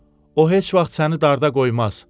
O heç vaxt səni darda qoymaz.